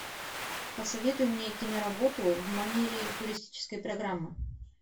посоветуй мне киноработу в манере туристической программы